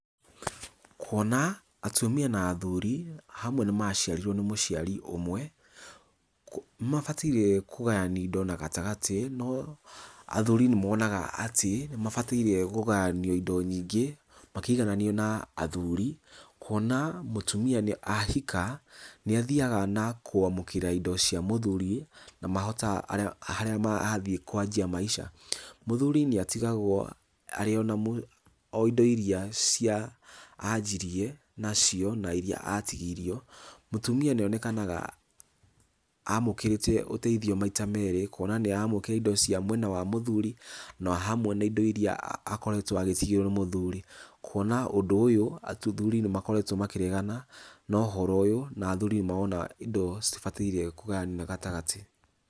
Kuona atumia na athuri hamwe nĩ maciarirwo nĩ mũciari ũmwe, nĩmabataire kũgayanio indo na gatagatĩ no athuri nĩmonaga atĩ nĩmabataire kũgayanio indo nyingĩ makĩigananio na athuri. Kuona mũtumia nĩ ahika, nĩ athiaga na kũamũkĩra indo cia mũthuri na mahota, harĩa athiĩ kwanjia maica. Mũthuri nĩ atigagwo arĩ ona indo iria cia anjirie nacio na iria atigirio. Mũtumia nĩ onekaga amũkĩrĩte ũteithio maita merĩ, kũona nĩ aramũkĩra indo cia mwena wa mũthuri na hamwe na indo iria akoretwo agĩcigĩrwo nĩ mũthuri. Kũona ũndũ ũyũ athuri nĩmakoretwo makĩregana na ũhoro ũyũ na athuri nĩ marona indo citibataire kũgayanio na gatagatĩ.